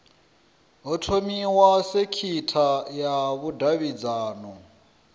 ho thomiwa sekitha ya vhudavhidzano